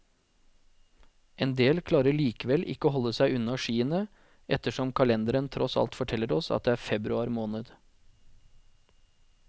Endel klarer likevel ikke å holde seg unna skiene, ettersom kalenderen tross alt forteller oss at det er februar måned.